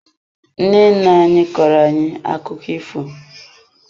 Nne nne anyị kọọro ayi akụkọ ifo.